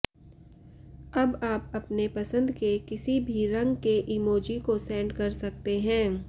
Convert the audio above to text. अब आप अपने पसंद के किसी भी रंग के इमोजी को सेंड कर सकते हैं